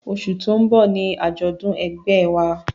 Oṣù tó ń bọ̀ ni àjọ̀dún ẹgbẹ́ ẹ wa